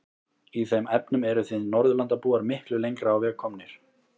Í þeim efnum eruð þið Norðurlandabúar miklu lengra á veg komnir.